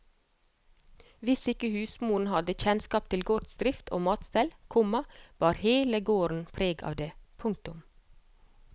Hvis ikke husmoren hadde kjennskap til gårdsdrift og matstell, komma bar hele gården preg av det. punktum